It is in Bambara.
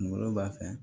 Kungolo b'a fɛ